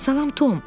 Salam, Tom.